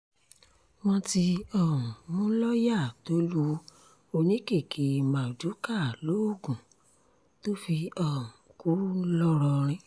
wọ́n ti um mú lọ́ọ̀yà tó lu oníkèké mardukà lóògùn tó fi um kú ńlọrọrìn